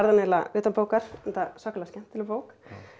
eiginlega utanbókar enda svakalega skemmtileg bók